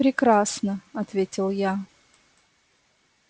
прекрасно ответил я